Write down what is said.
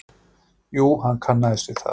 Jú, hann kannaðist við það.